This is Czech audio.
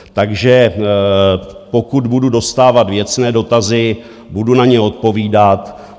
Takže pokud budu dostávat věcné dotazy, budu na ně odpovídat.